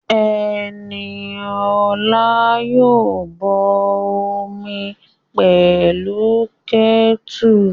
Ẹniola yóò bọ omi pẹ̀lú kẹ́tùrù